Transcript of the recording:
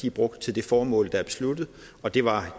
er brugt til det formål der er besluttet og det var